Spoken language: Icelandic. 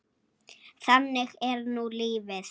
Þannig er nú lífið.